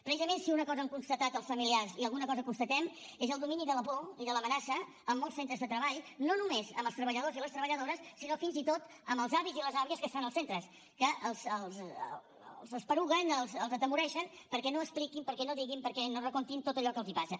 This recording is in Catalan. precisament si una cosa han constatat els familiars i alguna cosa constatem és el domini de la por i de l’amenaça en molts centres de treball no només amb els treballadors i les treballadores sinó fins i tot amb els avis i les àvies que estan als centres que els esporugueixen els atemoreixen perquè no expliquin perquè no diguin perquè no recontin tot allò que els passa